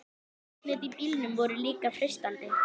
Loftnet á bílum voru líka freistandi.